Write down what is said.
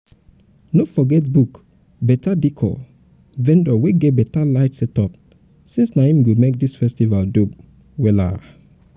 um no forget book um beta decor um vendor wey get beta light setup since na em go make dis festival dope wellas.